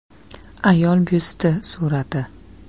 “Ayol byusti” surati.